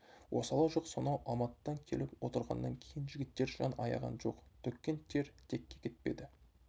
осалы жоқ сонау алматыдан келіп отырғаннан кейін жігіттер жан аяған жоқ төккен тер текке кетпеді